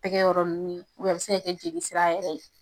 Tɛgɛ yɔrɔ nunnu a be se ka kɛ jolisira yɛrɛ ye.